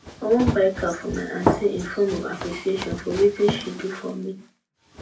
i wan buy car for my aunty in form of appreciation for wetin she do for me